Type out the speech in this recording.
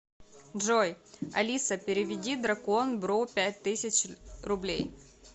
джой алиса переведи дракон бро пять тысяч рублей